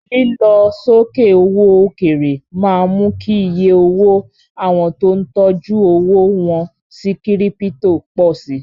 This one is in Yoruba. Lílọ sókè owó òkèèrè máa ń mú kí iye owó àwọn tó ń tọjú owó wọ́n sí Kírípítò pọ̀ si.